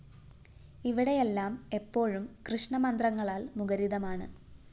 ഇവിടെയെല്ലാം എപ്പോഴും കൃഷ്ണമന്ത്രങ്ങളാല്‍ മുഖരിതമാണ്